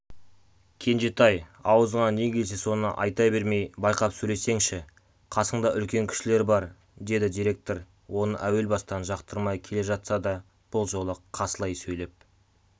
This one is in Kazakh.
кенжетай аузыңа не келсе соны айта бермей байқап сөйлесеңші қасыңда үлкен кісілер бар деді директор оны әуел бастан жақтырмай келе жатса да бұл жолы қасылай сөйлеп